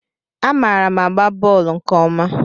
Amaara m agba bọọlu nke ọma.